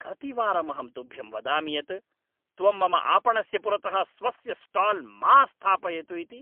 कतिवारम् अहं तुभ्यं वदामि यत् त्वं मम आपणस्य पुरतः स्वस्य स्टाल् मा स्थापयतु इति?